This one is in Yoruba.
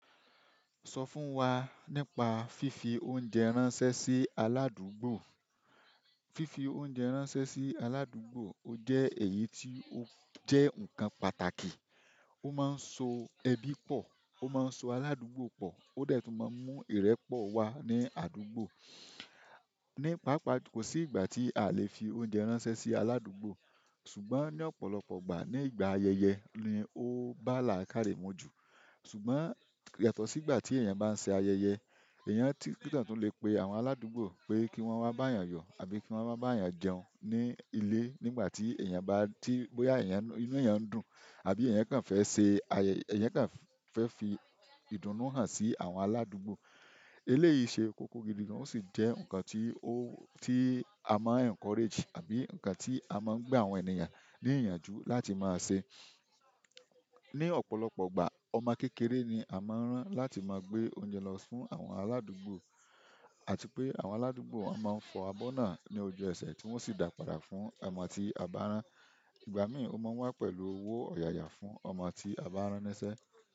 Sọ fún wa nípa fífi oúnjẹ ránṣẹ́ sí aládùúgbò. Fífi oúnjẹ ránṣẹ́ sí aládùúgbò ó jẹ́ ẹ̀yí tí ó jẹ́ ǹkan pàtàkì, ó máa ń so ẹbí pọ̀, ó máa ń so aládùúgbò pọ̀, ó dẹ tun máa ń mú ìrẹ́pọ̀ wá ní àdúgbò. Ní pàápàá, kò sí ìgbà tí a lè fi oúnjẹ ránṣẹ́ sí aládùúgbò, ṣùgbọ́n ní ọ̀pọ̀lọpọ̀ ìgbà, ní ìgbà ayẹyẹ ni ó bá láà kárẹ̀ mọ́ jù. Ṣùgbọ́n yàtọ̀ sí ìgbà tí èèyàn bá ń ṣe ayẹyẹ, èèyàn tí gbudọ tun le pe àwọn aládùúgbò pé kí wọ́n wá bá èèyàn yọ, àbí kí wọ́n wá bá èèyàn jẹun ní ilé nígbà tí èèyàn bá ti bóyá inú èèyàn ń dùn, àbí èèyàn kàn fẹ́ ṣe ayẹyẹ, èèyàn kàn fẹ́ fi ìdun nuu hàn sí àwọn aládùúgbò. Eléyìí ṣe kókó gidi gan, ó sì jẹ́ ǹkan tí a máa encourage, àbí ǹkan tí a máa ń gba àwọn ènìyàn ní ìyànjú láti máa ṣe. Ní ọ̀pọ̀lọpọ̀ ìgbà, ọmọ kékeré ni a máa ń rán láti máa gbé oúnjẹ lọ fún àwọn aládùúgbò, àti pé àwọn aládùúgbò won máa ń fọ abọ́ náà ní ojú ẹsẹ̀ tí wọ́n sì dàpààrà fún ọmọ tí a bá rán. Ìgbà mìí, ó máa wá pẹ̀lú owó ọ̀yàyà fún ọmọ tí a bá rán ń ṣẹ.